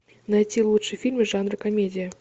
найти лучшие фильмы жанра комедия